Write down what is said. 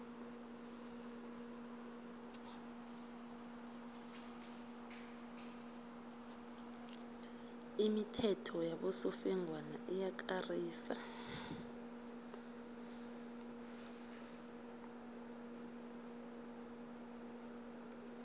imithetho yabosofengwana iyakarisa